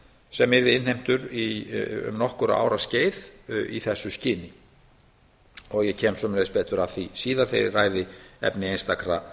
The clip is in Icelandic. sem yrði innheimtur um nokkur ára skeið í þessu sinn og ég kem betur að því síðar þegar ég ræði efni einstakra